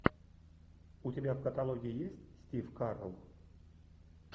у тебя в каталоге есть стив карелл